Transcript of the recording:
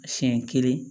Siɲɛ kelen